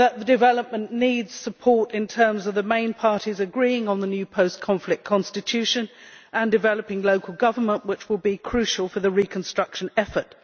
Development needs support in terms of the main parties agreeing on the new post conflict constitution and developing local government, which will be crucial for the reconstruction effort.